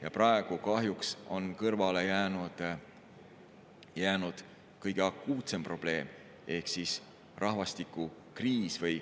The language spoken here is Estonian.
Ja praegu kahjuks on kõrvale jäänud kõige akuutsem probleem ehk rahvastikukriis.